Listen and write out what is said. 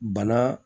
Bana